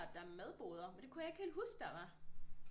Der er madboder men det kunne jeg ikke helt huske der var